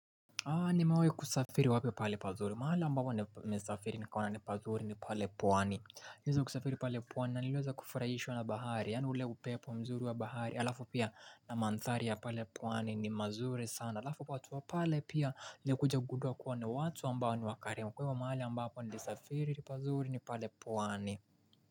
Nimewahi kusafiri wapi pahali pazuri mahali ambapo nimesafiri nikaona ni pazuri ni pale pwani niliweza kusafiri pale pwani naliweza kufurahishwa na bahari yaani ule upepo mzuri wa bahari halafu pia na maandhari ya pale pwani ni mazuri sana halafu watu wa pale pia nilikuja kugundua kuwa ni watu ambao ni wakarimu kwa hivyo mahali ambapo nilisafiri pazuri ni pale pwani.